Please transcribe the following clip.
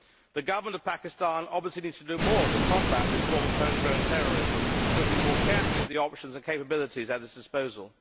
The Government of Pakistan obviously needs to do more to combat this form of home grown terrorism, looking more carefully at the options and capabilities at its disposal.